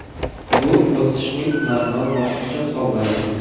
Bu o‘sishning normal bosqichi hisoblanadi.